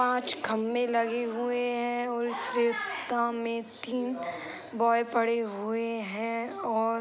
पाँच खम्बे लगे हुए हैं और इस रेता में तीन बॉय पड़े हुए हैं और --